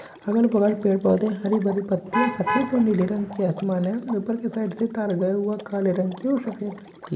अगल-बगल पेड़-पौधे हरी-भरी पत्तिया सफेद और नीले रंग के आसमान है ऊपर की साइड से तार गया हुआ काले रंग की और सफ़ेद रंग की।